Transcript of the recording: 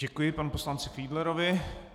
Děkuji panu poslanci Fiedlerovi.